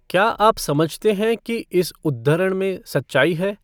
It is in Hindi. क्या आप समझते हैं कि इस उद्धृण में सच्चाई है?